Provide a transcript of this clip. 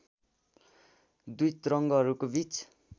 दुई तरङ्गहरूको बीच